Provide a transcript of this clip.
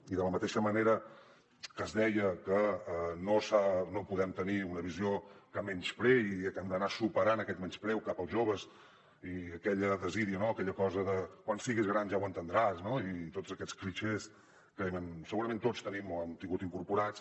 i de la mateixa manera que es deia que no podem tenir una visió que menyspreï i que hem d’anar superant aquest menyspreu cap als joves i aquella desídia aquella cosa de quan siguis gran ja ho entendràs i tots aquests clixés que segurament tots tenim o hem tingut incorporats